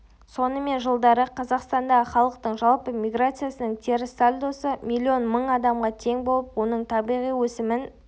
сонымен жылдары қазақстандағы халықтың жалпы миграциясының теріс сальдосы миллион мың адамға тең болып оның табиғи өсімін